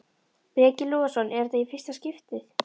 Breki Logason: Er þetta í fyrsta skiptið?